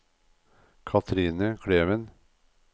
Cathrine Kleven